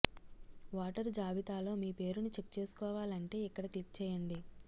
voter జాబితాలో మీ పేరును చెక్ చేసుకోవాలంటే ఇక్కడ క్లిక్ చేయండి